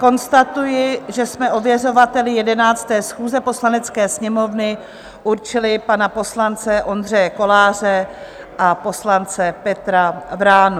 Konstatuji, že jsme ověřovateli 11. schůze Poslanecké sněmovny určili pana poslance Ondřeje Koláře a poslance Petra Vránu.